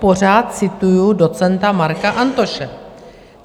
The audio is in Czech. Pořád cituji docenta Marka Antoše.